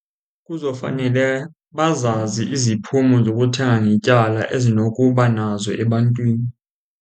Kuzofanele bazazi iziphumo zokuthenga ngetyala ezinokuba nazo ebantwini.